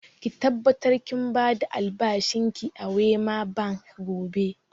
Ki tabbatar kin ba da albashin ki a Wema Bank gobe!